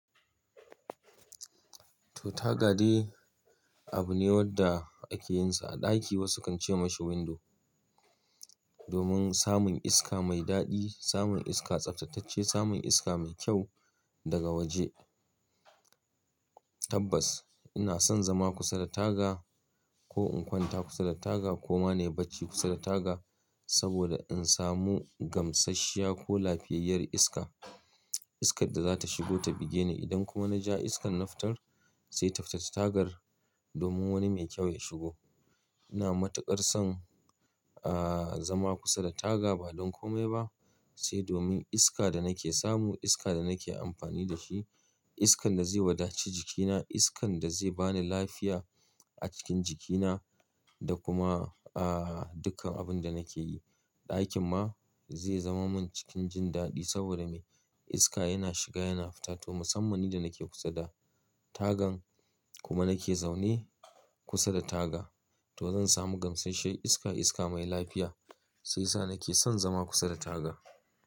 To, taga dai abu ne wanda ake yin sa a ɗaki. Wasu kan ce mashi window. Domin samun iska mai daɗi, samun iska tsaftatacce, samun iska mai kyau daga waje. Tabbas ina son zama kusa da taga ko in kwanta kusa da taga ko ma nayi bacci kusa da taga saboda in samu gamsasshiya ko lafiyayyar iska. Iskar da za ta shigo ta buge ni. Idan kuma na ja iskar nafitar, sai tafita ta tagar domin wani mai kyau ya shigo. Ina matuƙar son, ah, zama kusa da taga ba don kome ba, sai domin iska da nake samu, iska da nake amfani da shi, iskan da zai wadance jikina, iskan da zai bani lafiya a cikin jikina da kuma, ah, dukkan abin da nake yi. Aikin ma zai zama min cikin jin daɗi saboda me? Iska yana shiga yana fita. To, musammani da nake kusa da tagan kuma nake zaune kusa da taga, to zan samu gamsasshe iska, iska mai lafiya. Sai sa nake son zama kusa da taga.